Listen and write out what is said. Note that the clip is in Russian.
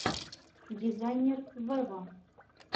дизайнер вево